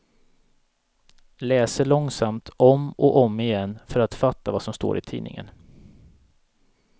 Läser långsamt, om och om igen, för att fatta vad som står i tidningen.